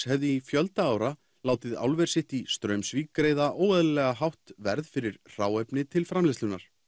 hefði í fjölda ára látið álver sitt í Straumsvík greiða óeðlilega hátt verð fyrir hráefni til framleiðslunnar